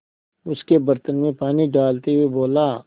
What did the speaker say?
उसके बर्तन में पानी डालते हुए बोला